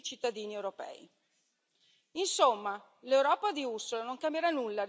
Insomma, l'Europa di Ursula non cambierà nulla rispetto ai disastri combinati da Juncker.